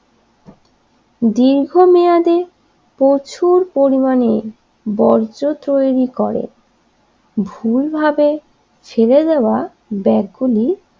দীর্ঘমেয়াদি প্রচুর পরিমাণে বর্জ্য তৈরি করে ভুলভাবে ফেলে দেওয়া ব্যাগগুলি